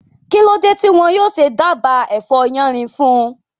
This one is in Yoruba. Kí ló dé tí wọn yóò ṣe dába ẹ̀fọ́ yánrin fún un?